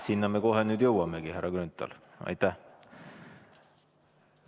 Sinna me kohe nüüd jõuamegi, härra Grünthal, aitäh!